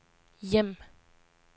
hjem